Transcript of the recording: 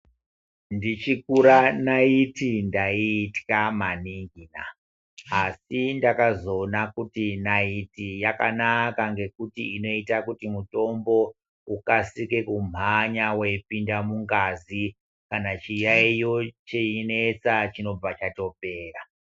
Ndichikura naiti ndaiitya maningina asi ndakazoona kuti naiti yakanaka ngekuti inoita kuti mutombo ukasike kumhanya wepinda mungazi. Kana chiyaiyo cheinesa chinobva chatopera.